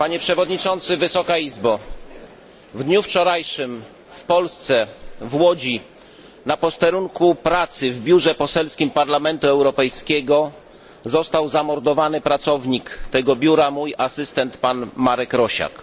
w biurze poselskim Parlamentu Europejskiego został zamordowany pracownik tego biura, mój asystent pan Marek Rosiak.